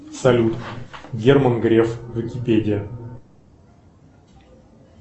салют герман греф википедия